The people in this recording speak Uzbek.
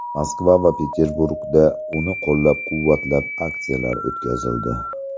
Moskva va Peterburgda uni qo‘llab-quvvatlab aksiyalar o‘tkazildi.